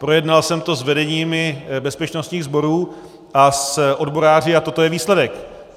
Projednal jsem to s vedeními bezpečnostních sborů a s odboráři a toto je výsledek.